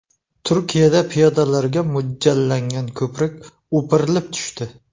Turkiyada piyodalarga mo‘ljallangan ko‘prik o‘pirilib tushdi .